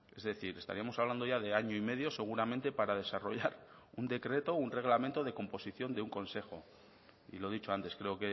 es decir estaríamos hablando ya de año y medio seguramente para desarrollar un decreto un reglamento de composición de un consejo y lo he dicho antes creo